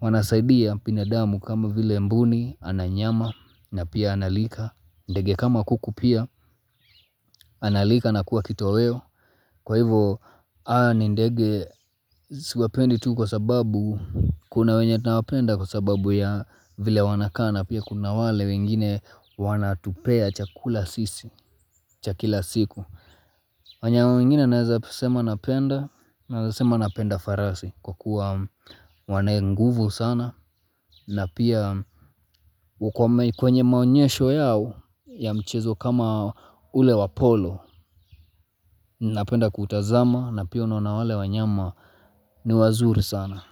wanasaidia binadamu kama vile mbuni, ana nyama na pia analiwa ndege kama kuku pia, analiwa na kuwa kitoweo, kwa hivyo ndege siwapendi tu kwa sababu, kuna wenye tunawapenda kwa sababu ya vile wanakaa na pia kuna wale wengine wanatupea chakula sisi, cha kila siku. Wanyama wengine naweza sema nawapenda, naweza sema napenda farasi kwa kuwa wanayo nguvu sana. Na pia kwenye maonyesho yao ya mchezo kama ule wa polo, napenda kuutazama na pia unaona wale wanyama ni wazuri sana.